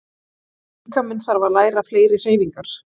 Líkaminn þarf að læra fleiri hreyfingar.